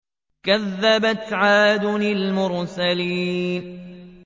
كَذَّبَتْ عَادٌ الْمُرْسَلِينَ